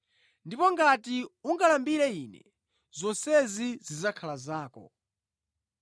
Ngati mutandilambira, zonsezi zidzakhala zanu.”